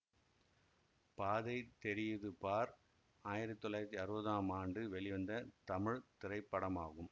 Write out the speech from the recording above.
பாதை தெரியுது பார் ஆயிரத்தி தொள்ளாயிரத்தி அறுவதாம் ஆண்டு வெளிவந்த தமிழ் திரைப்படமாகும்